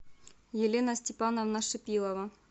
елена степановна шипилова